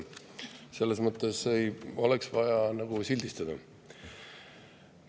Selles mõttes ei ole vaja sildistada.